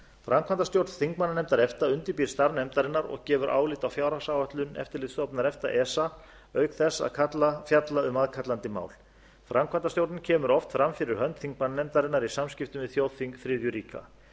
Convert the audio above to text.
framkvæmdastjórn þingmannanefndar efta undirbýr starf nefndarinnar og gefur álit á fjárhagsáætlun eftirlitsstofnunar efta auk þess að fjalla um aðkallandi mál framkvæmdastjórnin kemur oft fram fyrir hönd þingmannanefndarinnar í samskiptum við þjóðþing þriðju ríkja í